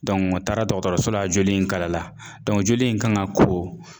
o taara dɔgɔtɔrɔso la joli in kalala joli in kan ŋa ko